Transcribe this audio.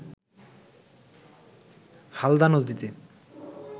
হালদা নদীতে